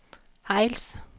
Hejls